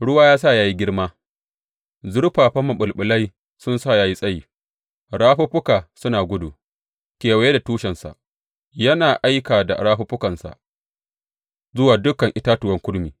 Ruwa ya sa ya yi girma, zurfafan maɓulɓulai sun sa ya yi tsayi; rafuffuka suna gudu kewaye da tushensa yana aika da rafuffukansa zuwa dukan itatuwan kurmi.